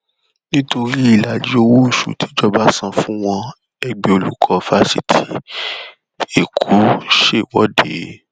nítorí ìlàjì owóoṣù tíjọba san fún wọn ẹgbẹ olùkọ fásitì èkó ṣèwọde